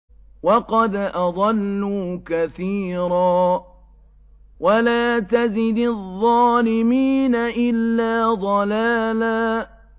وَقَدْ أَضَلُّوا كَثِيرًا ۖ وَلَا تَزِدِ الظَّالِمِينَ إِلَّا ضَلَالًا